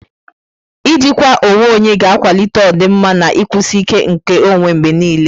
Ijikwa onwe onye ga-akwalite ọdịmma, na ikwụsi ike nke ọnwe mgbe niile.